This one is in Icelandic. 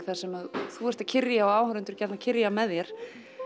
þar sem þú ert að kyrja og áhorfendur gjarnan kyrja með þér